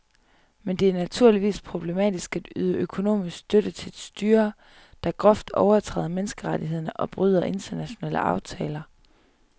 Men det er naturligvis problematisk at yde økonomisk støtte til et styre, der groft overtræder menneskerettighederne og bryder internationale aftaler.